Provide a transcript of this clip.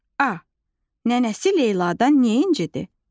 A. Nənəsi Leyladan nə incidi?